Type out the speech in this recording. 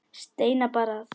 Steina bar að.